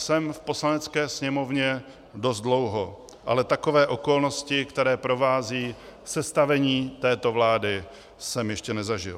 Jsem v Poslanecké sněmovně dost dlouho, ale takové okolnosti, které provázejí sestavení této vlády, jsem ještě nezažil.